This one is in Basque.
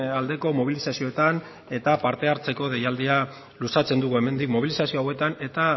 aldeko mobilizazioetan eta partehartzeko deialdia luzatzen dugu hemendik mobilizazio hauetan eta